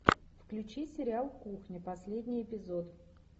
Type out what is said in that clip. включи сериал кухня последний эпизод